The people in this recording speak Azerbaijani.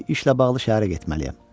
Bir işlə bağlı şəhərə getməliyəm.